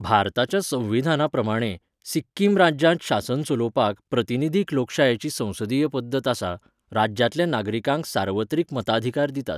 भारताच्या संविधाना प्रमाणें, सिक्किम राज्यांत शासन चलोवपाक प्रतिनिधीक लोकशायेची संसदीय पद्दत आसा, राज्यांतल्या नागरीकांक सार्वत्रिक मताधिकार दितात.